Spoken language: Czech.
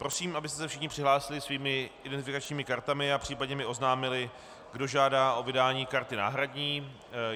Prosím, abyste se všichni přihlásili svými identifikačními kartami a případně mi oznámili, kdo žádá o vydání karty náhradní.